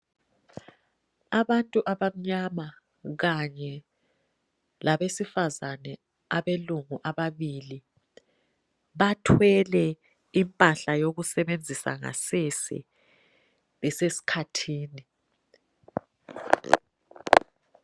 Abantu abamnyama kanye labesifazane abelungu ababili bathwele impahla yokusebenzisa ngasese beseskhathini.